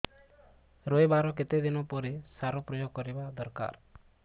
ରୋଈବା ର କେତେ ଦିନ ପରେ ସାର ପ୍ରୋୟାଗ କରିବା ଦରକାର